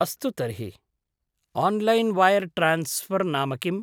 अस्तु तर्हि, online wire transfer नाम किम्?